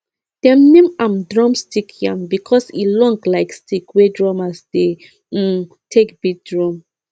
dem name am drumstick yam because e long like stick wey drummers dey um take beat drum